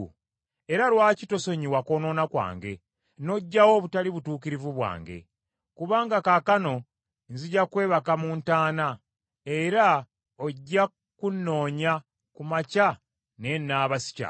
Era lwaki tosonyiwa kwonoona kwange, n’oggyawo obutali butuukirivu bwange? Kubanga kaakano nzija kwebaka mu ntaana; era ojja kunnoonya ku makya naye naaba sikyaliwo.”